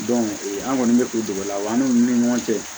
an kɔni bɛ k'u dɛmɛ la wa an n'u ni ɲɔgɔn cɛ